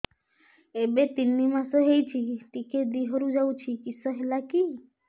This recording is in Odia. ଏବେ ତିନ୍ ମାସ ହେଇଛି ଟିକିଏ ଦିହରୁ ଯାଉଛି କିଶ ହେଲାକି